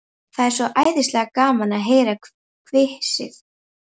Það er svo æðislega gaman að heyra hvissið.